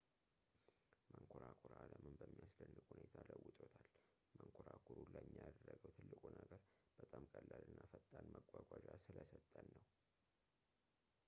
መንኰራኩር ዓለምን በሚያስደንቅ ሁኔታ ለውጦታል መንኮራኩሩ ለእኛ ያደረገው ትልቁ ነገር በጣም ቀላል እና ፈጣን መጓጓዣ ስለሰጠን ነው